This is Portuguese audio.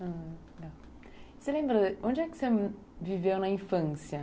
Ah, legal... Você lembra, onde é que você viveu na infância?